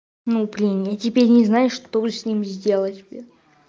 ну блин я теперь не знаю что с ним сделать бля